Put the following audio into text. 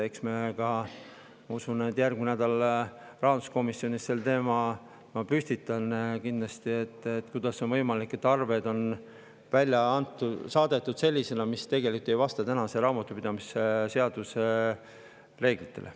Eks ma ka, ma usun, järgmisel nädalal rahanduskomisjonis kindlasti püstitan selle teema, et kuidas on võimalik, et arved on välja saadetud sellisena, et need tegelikult ei vasta raamatupidamise seaduse reeglitele.